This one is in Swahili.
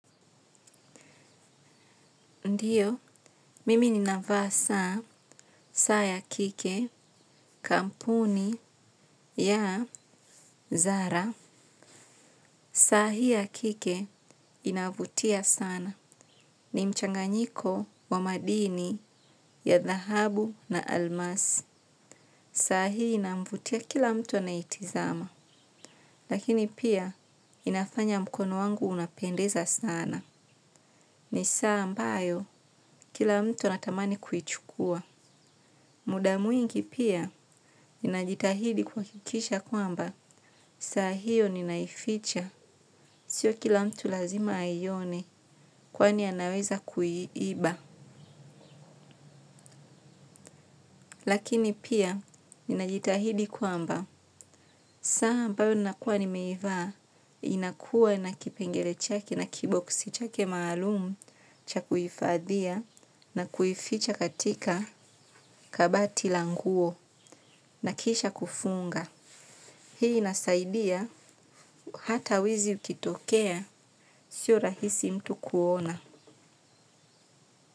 Ndiyo, mimi ninavaa saa, saa ya kike, kampuni, yaa, zara. Saa hii ya kike inavutia sana. Ni mchanganyiko wa madini ya dhahabu na almasi. Saa hii inavutia kila mtu anaitizama. Lakini pia inafanya mkono wangu unapendeza sana. Ni saa ambayo kila mtu anatamani kuichukua. Muda muwngi pia, ninajitahidi kwa kikisha kwamba, saa hiyo ninaificha, sio kila mtu lazima ayione kwa ni anaweza kuiiba. Lakini pia, ninajitahidi kwamba, saa ambao nina kuwa nimeivaa, inakua na kipengele chaki na kiboksi chake maalumu cha kuifadhia na kuificha katika kabati languo na kisha kufunga. Hii nasaidia hata wizi ukitokea sio rahisi mtu kuona.